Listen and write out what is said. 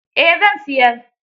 Eh zan siyar.